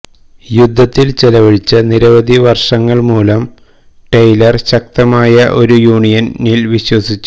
യുദ്ധത്തിൽ ചെലവഴിച്ച നിരവധി വർഷങ്ങൾ മൂലം ടെയ്ലർ ശക്തമായ ഒരു യൂണിയനിൽ വിശ്വസിച്ചു